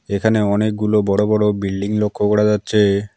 এখানে অনেকগুলো বড় বড় বিল্ডিং লক্ষ্য করা যাচ্ছে।